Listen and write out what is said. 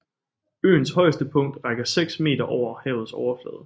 Øens højeste punkt rækker 6 m over havets overflade